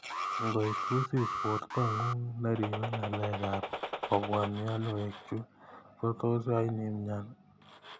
Ngoek wisis porto ngung neripe ngalek ap kopwaa mionwek chu , ko tos ain imyan.